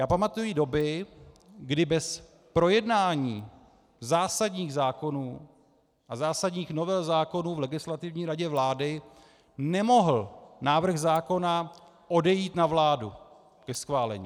Já pamatuji doby, kdy bez projednání zásadních zákonů a zásadních novel zákonů v Legislativní radě vlády nemohl návrh zákona odejít na vládu ke schválení.